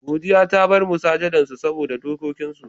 Godiya ta bar masujadan su saboda dokikin su.